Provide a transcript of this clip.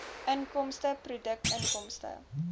inkomste produkinkomste